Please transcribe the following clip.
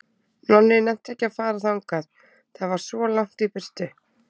Nonni nennti ekki að fara þangað, það var svo langt í burtu.